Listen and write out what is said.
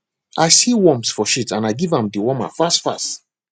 i see worms for shit and i give am dewormer fast fast